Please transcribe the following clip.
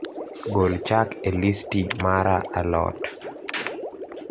gol chak e listi mara a lot